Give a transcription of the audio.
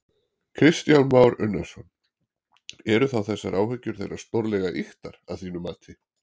Kristján Már Unnarsson: Eru þá þessar áhyggjur þeirra stórlega ýktar að þínu mati?